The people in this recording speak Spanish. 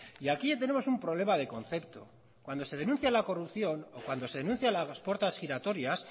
y aquí tenemos un problema de concepto cuando se denuncia la corrupción o cuando se denuncian las puertas giratorias